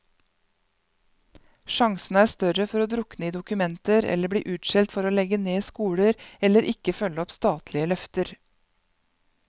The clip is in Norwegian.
Sjansene er større for å drukne i dokumenter eller bli utskjelt for å legge ned skoler, eller ikke følge opp statlige løfter.